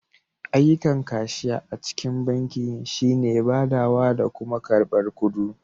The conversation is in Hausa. Ayyukan kashiya a cikin banki shi ne badawa da kuma karbar kuɗu.